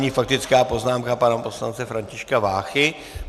Nyní faktická poznámka pana poslance Františka Váchy.